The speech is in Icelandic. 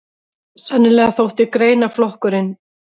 Sennilega þótti greinaflokkurinn